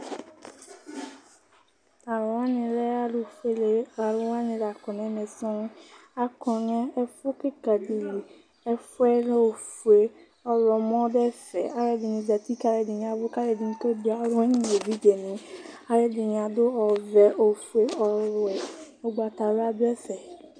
T'alʋ wani lɛ alʋfuele alʋni la kɔ n'mɛ sɔŋ Akɔ nʋ ɛfʋ kika di li Ɛfʋ yɛ lɛ ofue, ɔɣlɔmɔ dʋ ɛfɛ, alʋ ɛdini zati k'alʋ ɛdini yavʋ, k'alʋ ɛdini kebue alʋwani n'evidzeni n'ɛfɛ Alʋ ɛdini adʋ ɔvɛ , ofue, ɔwɛ, ugbatawla dʋ ɛfɛ